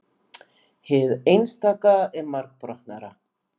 hið einstaka er margbrotnara